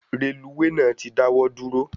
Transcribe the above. Reluwe náà ti dawọ duro